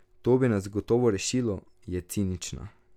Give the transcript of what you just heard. To bi nas gotovo rešilo, je cinična.